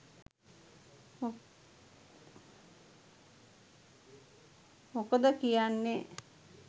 මොකොද කියන්නේ